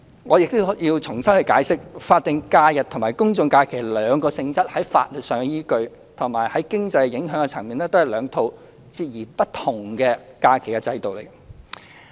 我亦要重新解釋，法定假日和公眾假期兩者的性質在法律依據上，以及經濟影響的層面上，都是兩套截然不同的假期制度。